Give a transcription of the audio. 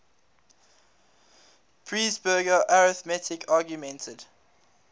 presburger arithmetic augmented